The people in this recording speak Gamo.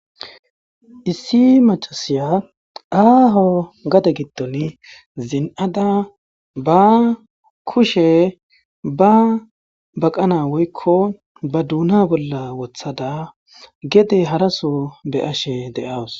Issi macassiya aaho gade gidoni zin'ada ba kushe ba baqana woykko ba duuna bolla wothada gede haraso be7ashe de'awus.